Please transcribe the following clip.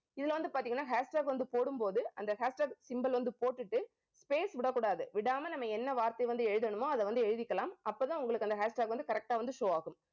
இதுல வந்து பார்த்தீங்கன்னா hashtag வந்து போடும்போது அந்த hashtag symbol வந்து போட்டுட்டு space விடக்கூடாது. விடாமல் நம்ம என்ன வார்த்தை வந்து எழுதணுமோ அதை வந்து எழுதிக்கலாம். அப்பதான் உங்களுக்கு அந்த hashtag வந்து correct ஆ வந்து show ஆகும்